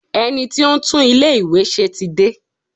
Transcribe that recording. Ẹni tí ó ń tún ilé ìwé ṣe tí dé.